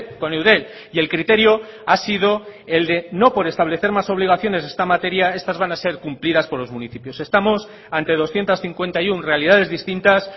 con eudel y el criterio ha sido el de no por establecer más obligaciones en esta materia estás van a ser cumplidas por los municipios estamos ante doscientos cincuenta y uno realidades distintas